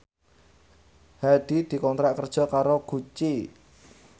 Hadi dikontrak kerja karo Gucci